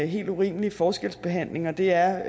helt urimelig forskelsbehandling og det er